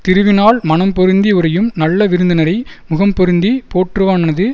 திருவினாள் மனம்பொருந்தி உறையும் நல்ல விருந்தினரை முகம் பொருந்திப் போற்றுவானது